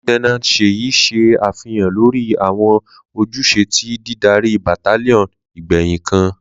Lieutenant Seyi ṣe afihan lori awọn ojuse ti didari battalion igbẹhin kan.